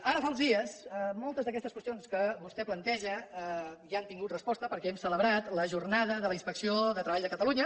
ara fa uns dies moltes d’aquestes qüestions que vostè planteja ja han tingut resposta perquè hem celebrat la jornada de la inspecció de treball de catalunya